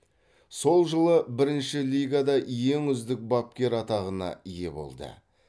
сол жылы бірінші лигада ең үздік бапкер атағына ие болды